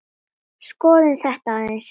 Tómarúm í hjarta finn.